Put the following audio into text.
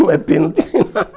Não é pênalti